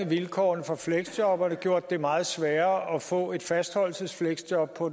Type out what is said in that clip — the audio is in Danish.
vilkårene for fleksjobberne gjort det meget sværere at få et fastholdelsesfleksjob på